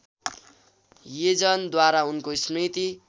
यजनद्वारा उनको स्मृति